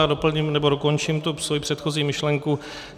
Já doplním nebo dokončím tu svoji předchozí myšlenku.